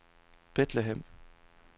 Bethlehem